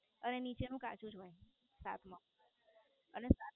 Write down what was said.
અરે નીચે નું કાચું જ હોય શાક મોં અને